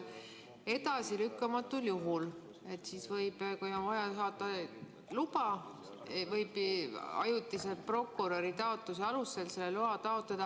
Edasilükkamatul juhul, kui on vaja saada luba, võib ajutiselt prokuröri taotluse alusel selle loa taotleda.